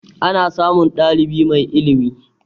Ana samun ɗalibi mai ilimi